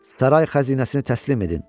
Saray xəzinəsini təslim edin.